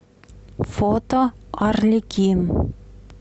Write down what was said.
фото арлекин